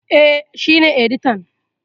E, shi ne editan.